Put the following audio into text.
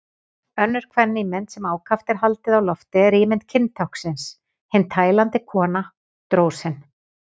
Önnur kvenímynd sem ákaft er haldið á lofti er ímynd kyntáknsins, hin tælandi kona, drósin.